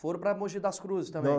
Foram para Mogi das Cruzes também? Não